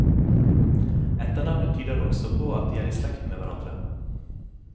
Etternavnet tyder også på at de er i slekt med hverandre.